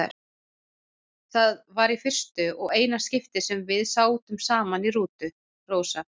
Þetta var í fyrsta og eina skiptið sem við sátum saman í rútu, Rósa.